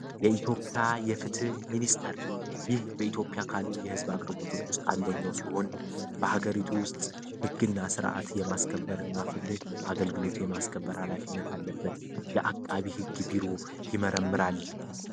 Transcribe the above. የኢትዮጵያ የፍትህ ሚኒስተር ይህ በኢትዮጵያ ካሉ የሕዝብ አግርቦቶች ውስጥ አንደኘው ሲሆን በሀገሪቱ ውስጥ ሕግ እና ሥርዓት የማስከበርእና ፍትህ አገልግሎት የማስከበር ኃላፊነት አለበት የአቃቢ ሕግ ቢሮ ይመረምራል፡፡